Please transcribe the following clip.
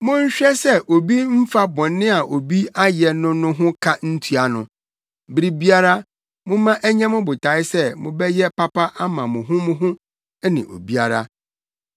Monhwɛ sɛ obi mmfa bɔne a obi ayɛ no no ho ka ntua no. Bere biara momma ɛnyɛ mo botae sɛ mobɛyɛ papa ama mo ho mo ho ne obiara.